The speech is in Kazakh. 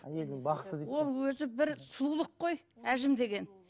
әйелдің бақыты дейсіз ол өзі бір сұлулық қой әжім деген